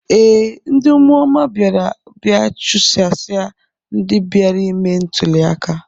Ee, ndị ụmụoma bịara bịa chụsasịa ndị bịara ime ntụli aka.